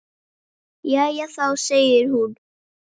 Jæja þá, segir hún.